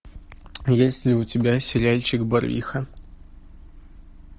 есть ли у тебя сериальчик барвиха